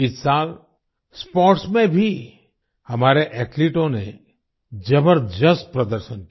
इस साल स्पोर्ट्स में भी हमारे एथलीटों ने जबरदस्त प्रदर्शन किया